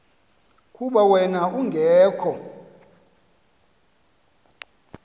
kuba wen ungekho